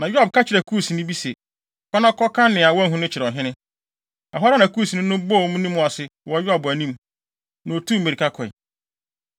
Na Yoab ka kyerɛɛ Kusni bi se, “Kɔ na kɔka nea woahu no kyerɛ ɔhene.” Ɛhɔ ara na Kusni no bɔɔ ne mu ase wɔ Yoab anim, na otuu mmirika kɔe.